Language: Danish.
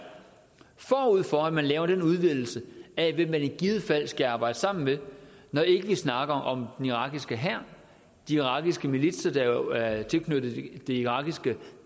forud for at man laver den udvidelse af hvem man i givet fald skal arbejde sammen med når ikke vi snakker om den irakiske hær de irakiske militser der jo er tilknyttet det irakiske